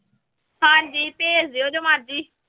ਹਾਂਜੀ ਭੇਜ ਦਿਓ ਜੋ ਮਰਜ਼ੀ।